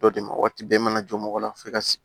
Dɔ de ma waati bɛɛ i mana jɔ mɔgɔ la f'i ka sigi